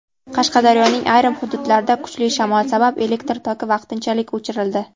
Qashqadaryoning ayrim hududlarida kuchli shamol sabab elektr toki vaqtinchalik o‘chirildi.